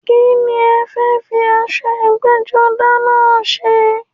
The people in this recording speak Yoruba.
Kíni ẹ fẹ́ fi aṣọ ẹgbẹ́-jọdá náà ṣe?